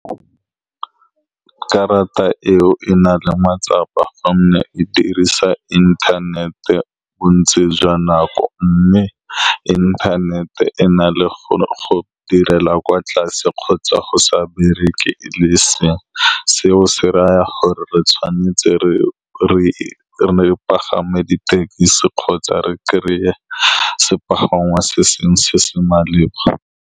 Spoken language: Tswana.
Karata eo e na le matsapa ka gonne e dirisa internet-e bontsi jwa nako, mme internet-e e na le go go direla kwa tlase kgotsa go sa bereke, le e seng seo. Se raya gore re tshwanetse re-re-re re pagame dithekisi kgotsa re kry-e sepagangwa se sengwe se se maleba.